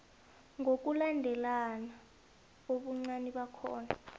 ngokulandelana ubuncani bakhona